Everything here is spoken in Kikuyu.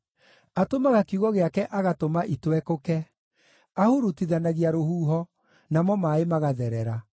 Atũmaga kiugo gĩake agatũma itwekũke; ahurutithanagia rũhuho, namo maaĩ magatherera.